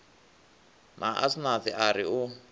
na asnath a ri u